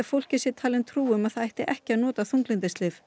fólki sé talin trú um að það ætti ekki að nota þunglyndislyf